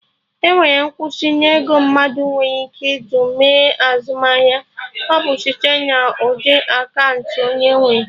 Enwere nkwụsị na ego mmadụ nwere ike ji mee azụmahịa, ọ bụ site na ụdị akaụntụ onye nwere